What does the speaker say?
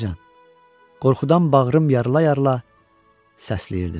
Qorxudan bağrım yarıla-yarıla səsləyirdim.